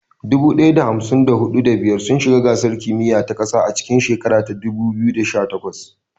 Dubu ɗaya da hamsin da huɗu, da biyar sun shiga gasar kimiyya ta ƙasa a cikin shekarar 2018.